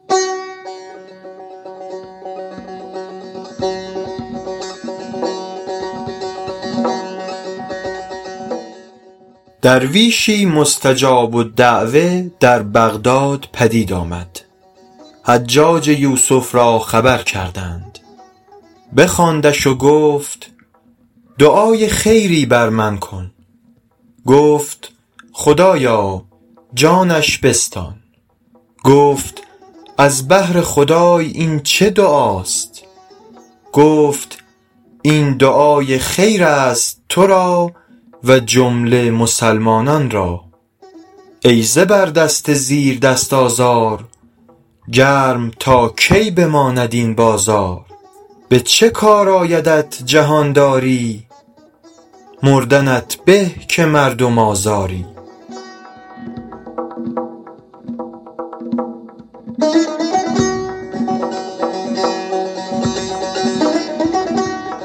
درویشی مستجاب الدعوة در بغداد پدید آمد حجاج یوسف را خبر کردند بخواندش و گفت دعای خیری بر من بکن گفت خدایا جانش بستان گفت از بهر خدای این چه دعاست گفت این دعای خیر است تو را و جمله مسلمانان را ای زبردست زیردست آزار گرم تا کی بماند این بازار به چه کار آیدت جهانداری مردنت به که مردم آزاری